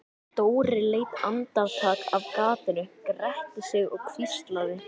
Dóri leit andartak af gatinu, gretti sig og hvíslaði